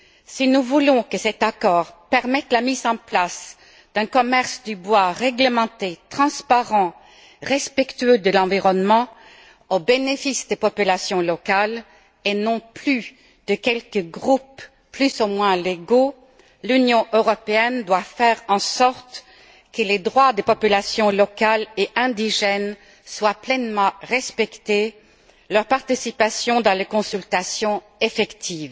Si nous voulons que cet accord permette la mise en place d'un commerce du bois réglementé, transparent, respectueux de l'environnement, au bénéfice des populations locales et non plus de quelques groupes plus ou moins légaux, l'Union européenne doit faire en sorte que les droits des populations locales et indigènes soient pleinement respectés et que leur participation aux consultations soit effective.